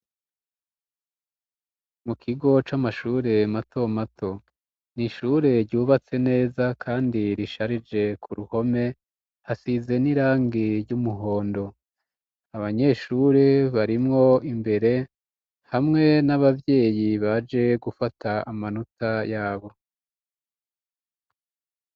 Mu kigo c'amashure mato mato ni ishure ryubatse neza kandi risharije ku ruhome; hasize n'irangi ry'umuhondo. Abanyeshure barimwo imbere hamwe n'abavyeyi baje gufata amanota yabo.